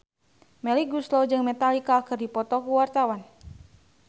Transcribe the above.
Melly Goeslaw jeung Metallica keur dipoto ku wartawan